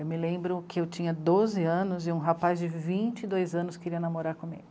Eu me lembro que eu tinha doze anos e um rapaz de vinte e dois anos queria namorar comigo.